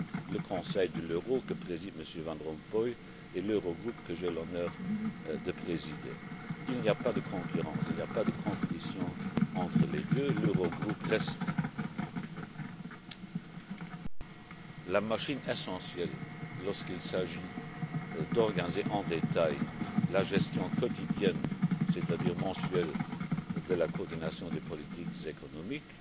le Conseil de l'euro que préside M. Van Rompuy et l'Eurogroupe que j'ai l'honneur de présider. Il n'y a pas de concurrence, il n'y a pas de compétition entre les deux. L'Eurogroupe reste la machine essentielle lorsqu'il s'agit d'organiser en détail la gestion quotidienne, c'est à dire mensuelle, de la coordination des politiques économiques.